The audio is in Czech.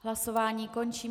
Hlasování končím.